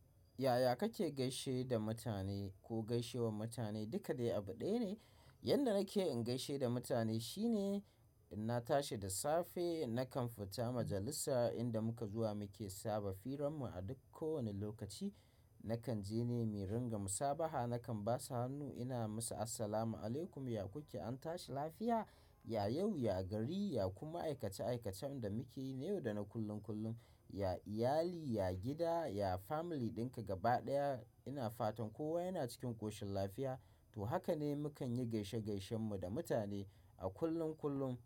Yaya kake gaishe da mutane ko gaishewar mutane? Duka dai abu ɗaya ne. Yanda nake in gaishe da mutane shine, in na tashi da safe nakan fita majalisa inda muka zuwa muke saba firam mu a duk ko wani lokaci. Nakan je ne mi ringa musabaha, nakan basu hannu ina musa "Assalamu alaikum, ya kuke an tashi lafiya? Ya yau, ya gari, ya kuma aikace-aikacen da mukeyi na yau da na kullum-kullum. Ya iyali, ya gida, ya family ɗinka gaba ɗaya ina fatan kowa yana cikin ƙoshin lafiya" to hakane mukan yi gaishe-gaishen mu da mutane a kullum-kullum.